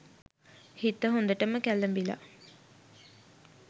හිත හොඳටම කැලඹිලා.